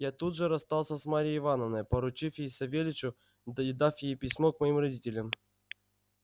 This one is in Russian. я тут же расстался с марьей ивановной поручив ей савельичу и дав ей письмо к моим родителям